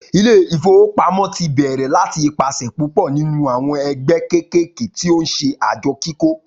Ilé ìfowópamọ́ tí bèrè láti ipasẹ̀ púpò nínú àwọn ẹgbẹ́ kékèké tí o nṣe àjọ kíkó